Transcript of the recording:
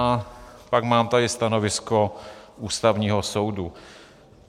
A pak tady mám stanovisko Ústavního soudu.